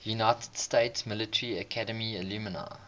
united states military academy alumni